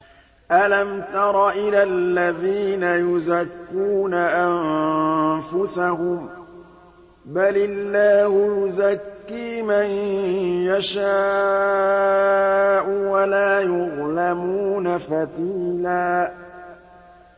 أَلَمْ تَرَ إِلَى الَّذِينَ يُزَكُّونَ أَنفُسَهُم ۚ بَلِ اللَّهُ يُزَكِّي مَن يَشَاءُ وَلَا يُظْلَمُونَ فَتِيلًا